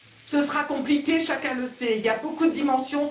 Ce sera compliqué, chacun le sait, il y a beaucoup de dimensions.